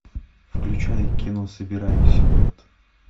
включай кино собираем силуэт